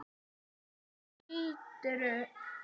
Hvaða gildru?